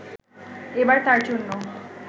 এবার তাঁর জন্য